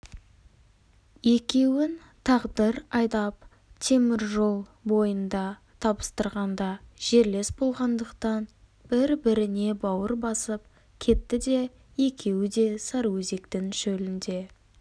екеуін тағдыр айдап темір жол бойында табыстырғанда жерлес болғандықтан бір-біріне бауыр басып кетті де екеуі де сарыөзектің шөлінде